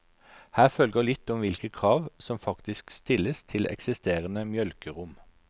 Her følger litt om hvilke krav som faktisk stilles til eksisterende mjølkerom.